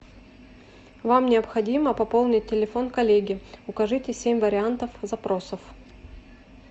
вам необходимо пополнить телефон коллеги укажите семь вариантов запросов